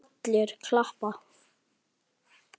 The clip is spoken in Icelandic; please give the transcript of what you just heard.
Allir klappa.